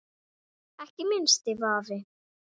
Ekki minnsti vafi.